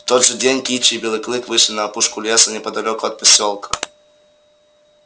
в тот же день кичи и белый клык вышли на опушку леса неподалёку от посёлка